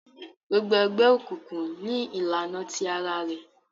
Gbogbo egbeokunkun ní ìlànà tí àrà rẹ